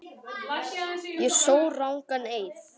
Ég sór rangan eið.